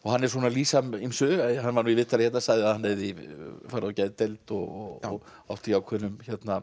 hann er svona að lýsa ýmsu hann var nú í viðtali hérna sagði að hann hefði farið á geðdeild og átt í ákveðnum